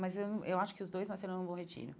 Mas eu eu acho que os dois nasceram no Bom Retiro.